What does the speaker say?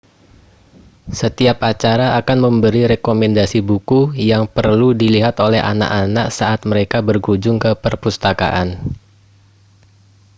setiap acara akan memberi rekomendasi buku yang perlu dilihat oleh anak-anak saat mereka berkunjung ke perpustakaan